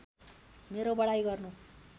मेरो बढाइ गर्नु